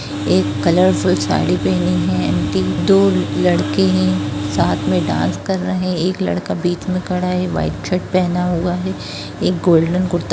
एक कलरफूल साड़ी पहना है दो लड़के है साथ मे डास कर रहे हैं एक लड़का बीच मे खड़ा है व्हाइट शर्ट पहना हुआ है एक गोल्डन कुर्ता--